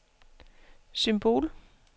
symbol